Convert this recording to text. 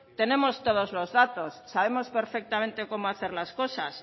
tenemos todos los datos sabemos perfectamente cómo hacer las cosas